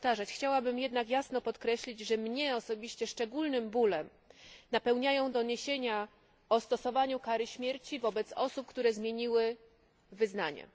Chciałabym jednak jasno podkreślić, że mnie osobiście szczególnym bólem napełniają doniesienia o stosowaniu kary śmierci wobec osób, które zmieniły wyznanie.